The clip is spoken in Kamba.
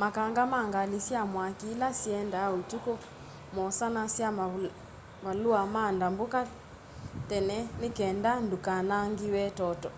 makanga ma ngali sya mwaki ila siendaa utuku mosanasya mavalua ma ndambuka tene ni kenda ndukanangiwe